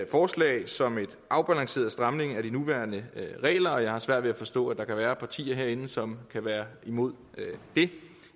forslag som en afbalanceret stramning af de nuværende regler og jeg har svært ved at forstå at der kan være partier herinde som kan være imod det